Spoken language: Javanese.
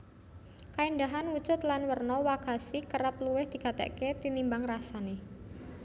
Kaéndahan wujud lan werna wagashi kerep luwih digatèkaké tinimbang rasané